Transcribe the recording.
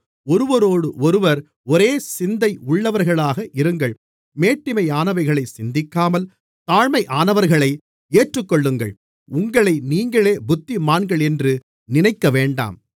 ஒருவரோடொருவர் ஒரேசிந்தை உள்ளவர்களாக இருங்கள் மேட்டிமையானவைகளைச் சிந்திக்காமல் தாழ்மையானவர்களை ஏற்றுக்கொள்ளுங்கள் உங்களை நீங்களே புத்திமான்கள் என்று நினைக்கவேண்டாம்